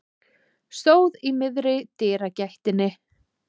Stóð í miðri dyragættinni.